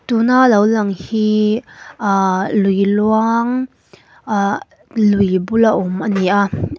tuna lo lang hi ahh lui luang ahh lui bula awm ani a ah--